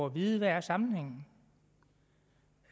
at vide hvad sammenhængen